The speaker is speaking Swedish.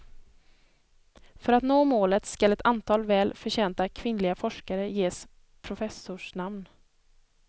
För att nå målet skall ett antal väl förtjänta kvinnliga forskare ges professors namn.